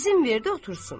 İzin verdi otursun.